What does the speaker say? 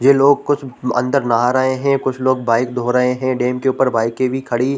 ये लोग कुछ लोग अंदर नहा रहे हैं कुछ लोग बाइक धो रहे है डेम के ऊपर बाइक भी खड़ी--